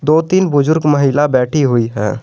दो तीन बुजुर्ग महिला बैठी हुई है।